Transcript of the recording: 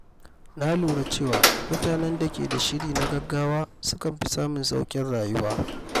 Na lura cewa mutanen da ke da shiri na gaggawa sukan fi samun sauƙin rayuwa.